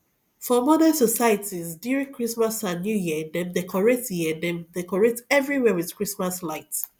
for modern societies during christmas and new year dem decorate year dem decorate everywhere with christmas light